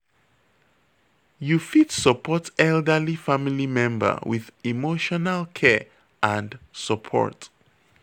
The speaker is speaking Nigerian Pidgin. You fit support elderly family member with emotional care and support